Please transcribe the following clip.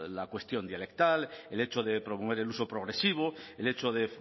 la cuestión dialectal el hecho de promover el uso progresivo el hecho de